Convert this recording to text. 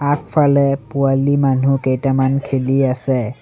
আগফালে পোৱালি মানুহ কেইটামান খেলি আছে।